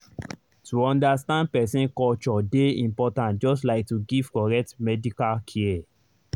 to understand person culture dey important just like to give correct medical care.